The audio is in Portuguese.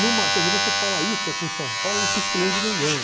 quer dizer, você fala isso aqui em São Paulo, não surpreende ninguém.